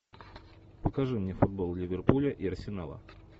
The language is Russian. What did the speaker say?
покажи мне футбол ливерпуля и арсенала